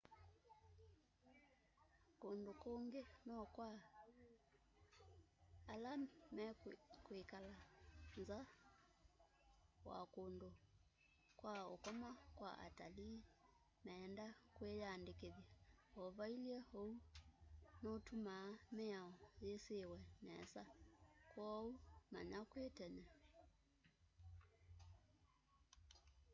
kundu kungi no kwa la mekwikala nza wa kundu kwa ukoma kwa atalii meenda kwiyandikithya o vailye uu uu nutumaa miao yisiwe nesa kwoou manya kwi tene